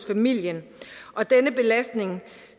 familien og denne belastning